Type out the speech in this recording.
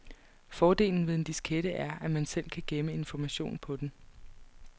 Fordelen ved en diskette er, at man selv kan gemme information på den.